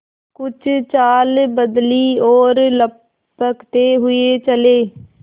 कुछ चाल बदली और लपकते हुए चले